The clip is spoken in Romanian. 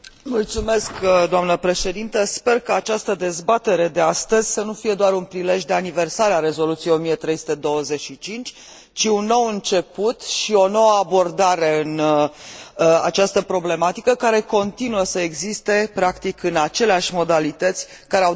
Sper ca această dezbatere de astăzi să nu fie doar un prilej de aniversare a Rezoluției 1325, ci un nou început și o nouă abordare în această problematică care continuă să existe, practic, în aceleași modalități care au determinat adoptarea Rezoluției